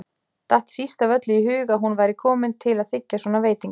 Datt síst af öllu í hug að hún væri komin til að þiggja svona veitingar.